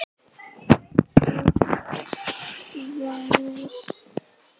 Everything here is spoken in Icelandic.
Kyrrt veður.